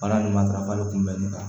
Baara in ma darafa de kun bɛnnen kan